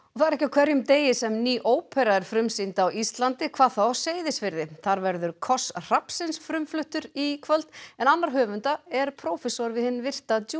það er ekki á hverjum degi sem ný ópera er frumsýnd á Íslandi hvað þá á Seyðisfirði þar verður koss hrafnsins frumfluttur í kvöld en annar höfunda er prófessor við hinn virta